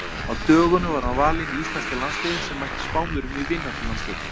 Á dögunum var hann valinn í íslenska landsliðið sem mætti Spánverjum í vináttulandsleik.